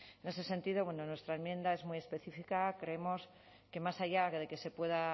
en ese sentido nuestra enmienda es muy específica creemos que más allá de que se pueda